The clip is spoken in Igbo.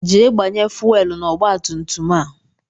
Jee gbanye fuwelu na-ọgba tum tum a!